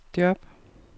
job